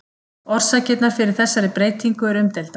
Orsakirnar fyrir þessari breytingu eru umdeildar.